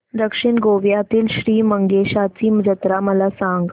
दक्षिण गोव्यातील श्री मंगेशाची जत्रा मला सांग